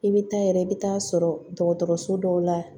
I bɛ taa yɛrɛ i bɛ taa sɔrɔ dɔgɔtɔrɔso dɔw la